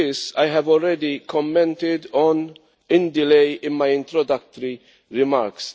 I have already commented on the delay in my introductory remarks.